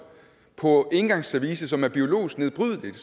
på engangsservice som er biologisk nedbrydeligt